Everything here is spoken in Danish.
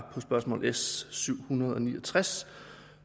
spørgsmål s syv hundrede og ni og tres